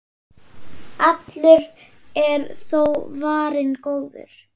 Allur er þó varinn góður.